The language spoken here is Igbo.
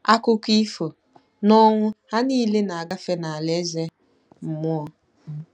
Akụkọ ifo: N'ọnwụ, ha niile na-agafe n'alaeze mmụọ